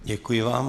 Děkuji vám.